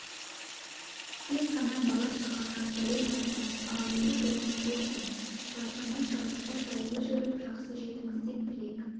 тек қана бала-шағаға сәлем айтыңыз ал енді жолыңыз болсын шаршамай-шалдықпай жайлы жүріп жақсы жетіңіз деп тілек